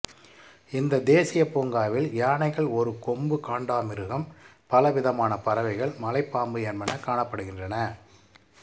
இந்த தேசிய பூங்காவில் யானைகள் ஒரு கொம்பு காண்டாமிருகம் பலவிதமான பறவைகள் மலைப்பாம்பு என்பன காணப்படுகின்றன